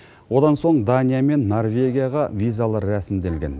одан соң дания мен норвегияға визалар рәсімделген